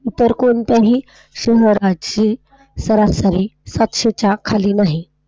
इतर कोणत्याही शहराची सरासरी पाचशे च्या खाली नाही.